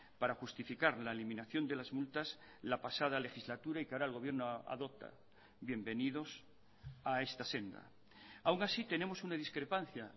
para justificar la eliminación de las multas la pasada legislatura y que ahora el gobierno adopta bienvenidos a esta senda aun así tenemos una discrepancia